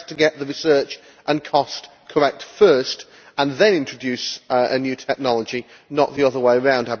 It is best to get the research and cost correct first and then introduce a new technology, not the other way around.